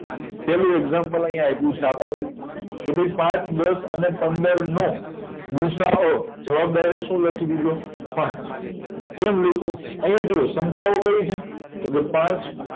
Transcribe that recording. પેલું એક્ષામ્પલ આયા આપ્યું છે આપણને કે ભાઈ પાંચ દસ અને પંદરનો ગુસાઅ જવાબ આયા શું લખી દીધો હા કેમ લયખો આયા જોવ સંખ્યાઓ કય છે તોકે પાંચ